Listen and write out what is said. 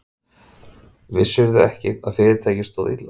Vissirðu ekki að fyrirtækið stóð illa?